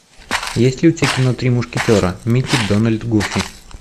есть ли у тебя кино три мушкетера микки дональд гуффи